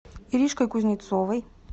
иришкой кузнецовой